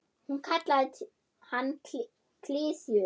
Hún kallaði hann klisju.